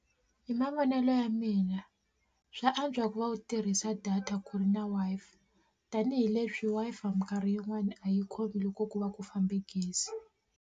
Hi mavonelo ya mina swa antswa ku va u tirhisa data ku ri na Wi-Fi tanihileswi Wi-Fi minkarhi yin'wani a yi khomi loko ku va ku fambe gezi.